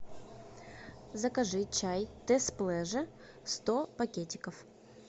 закажи чай тесс плеже сто пакетиков